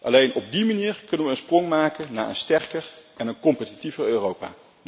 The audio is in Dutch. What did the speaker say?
Alleen op die manier kunnen we een sprong maken naar een sterker en een competitiever Europa.